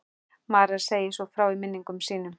María segir svo frá í minningum sínum: